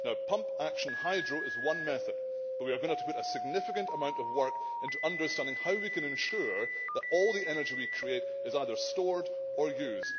Pump action hydro is one method, but we are going to have to put a significant amount of work into understanding how we can ensure that all the energy we create is either stored or used.